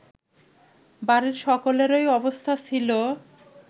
বাড়ির সকলেরই অবস্থা ছিল